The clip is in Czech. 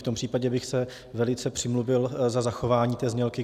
V tom případě bych se velice přimluvil za zachování té znělky.